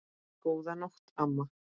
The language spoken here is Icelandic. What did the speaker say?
Góða nótt, amma.